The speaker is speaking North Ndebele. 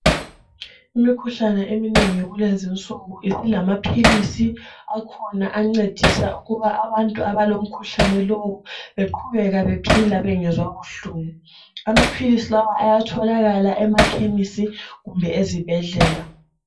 Imikhuhlane eminengi kulezi insuku sisilamaphilisi akhona ancedisa ukuba abantu abalomkhuhlane lowo beqhubeke bephila bengezwa buhlungu. Amaphilisi lawa ayatholakala emakhemesi kumbe ezibhedlela.